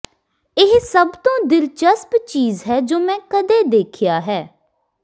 ਇਹ ਸਭ ਤੋਂ ਦਿਲਚਸਪ ਚੀਜ਼ ਹੈ ਜੋ ਮੈਂ ਕਦੇ ਦੇਖਿਆ ਹੈ